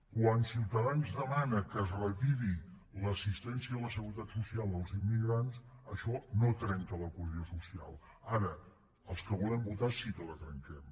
quan ciutadans demana que es retiri l’assistència a la seguretat social als immigrants això no trenca la cohesió social ara els que volem votar sí que la trenquem